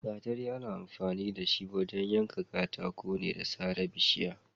Gatari ana amfani da shi wajen yanka katako da sare bishiya.